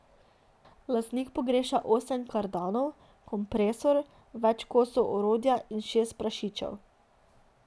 Lastnik pogreša osem kardanov, kompresor, več kosov orodja in šest prašičev.